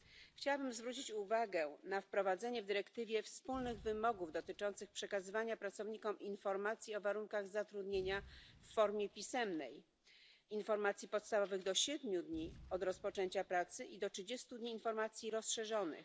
Chciałabym zwrócić uwagę na wprowadzenie w dyrektywie wspólnych wymogów dotyczących przekazywania pracownikom informacji o warunkach zatrudnienia w formie pisemnej, informacji podstawowych do siedmiu dni od rozpoczęcia pracy i do trzydziestu dni informacji rozszerzonych.